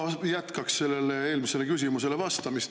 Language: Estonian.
No ma jätkaks sellele eelmisele küsimusele vastamist.